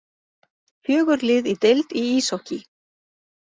Fjögur lið í deild í íshokkí